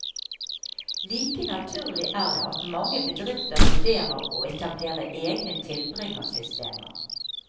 Like naturlig er det at mange bedrifter vurderer å etablere egne tilbringersystemer.